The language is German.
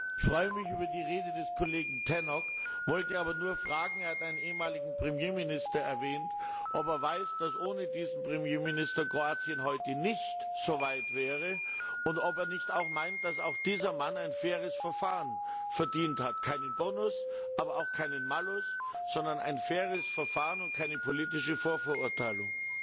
Ich freue mich über den Beitrag des Kollegen Tannock, wollte aber nur fragen er hat einen ehemaligen Premierminister erwähnt ob er weiß, dass ohne diesen Premierminister Kroatien heute nicht so weit wäre, und ob er nicht auch meint, dass auch dieser Mann ein faires Verfahren verdient hat keinen Bonus, aber auch keinen Malus, sondern ein faires Verfahren und keine politische Vorverurteilung.